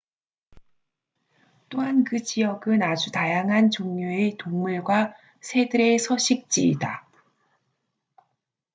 또한 그 지역은 아주 다양한 종류의 동물과 새들의 서식지이다